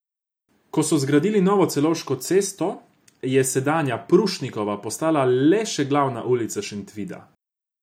Ko so zgradili novo Celovško cesto, je sedanja Prušnikova postala le še glavna ulica Šentvida.